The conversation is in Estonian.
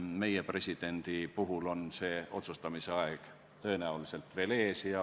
Meie presidendi puhul on otsustamise aeg tõenäoliselt veel ees.